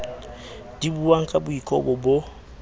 di buwang ka boikobo bo